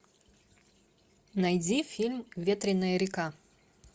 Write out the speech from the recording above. найди фильм ветреная река